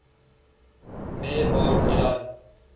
meir bar ilan